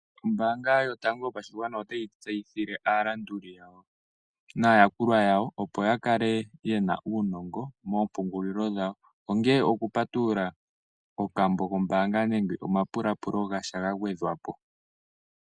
Ombaanga yotango yopashigwana otayi tseyithile aalanduli yawo naayakulwa yawo, opo yakale yena uungongo moompungulilo gawo. Ongele okupatulula okambo kombaanga, nenge omapulapulo gasha gagwedhwapo.